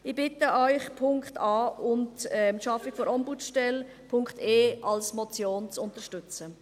Ich bitte Sie, den Punkt a und die Schaffung einer Ombudsstelle, Punkt e, als Motion zu unterstützen.